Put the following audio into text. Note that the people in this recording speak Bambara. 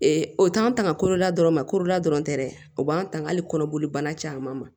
o t'an tanga kolola dɔrɔn ma korola dɔrɔn tɛ dɛ o b'an tanga hali kɔnɔboli banna caman ma